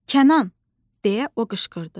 Kənan, deyə o qışqırdı.